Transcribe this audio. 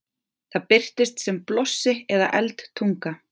það birtist sem blossi eða eldtunga